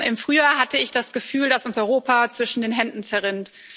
Im Frühjahr hatte ich das Gefühl, dass uns Europa zwischen den Händen zerrinnt.